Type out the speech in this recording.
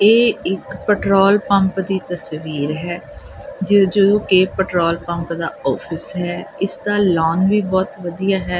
ਇਹ ਇੱਕ petrol pump ਦੀ ਤਸਵੀਰ ਹੈ ਜੋ ਕਿ ਪੈਟਰੋਲ ਪੰਪ ਦਾ ਆਫਿਸ ਹੈ ਇਸਦਾ ਲੋਨ ਵੀ ਬਹੁਤ ਵਧੀਆ ਹੈ।